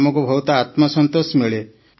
ଆମକୁ ବହୁତ ଆତ୍ମସନ୍ତୋଷ ମିଳେ